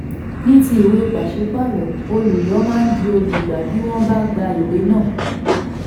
ní ti ìwé pàṣípààrọ̀ olùyọ máa di olùgbà bí wọ́n bá gba ìwé náà.